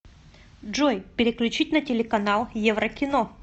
джой переключить на телеканал еврокино